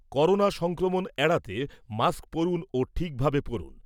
Corona সংক্রমণ এড়াতে, mask পরুন ও ঠিক ভাবে পরুন।